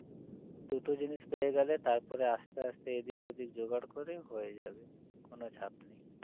দুটো জিনিস পেয়ে গেলে তারপরে আস্তে আস্তে এদিক ওদিক জোগাড় করে হয়ে যাবে কোনো চাপ নেই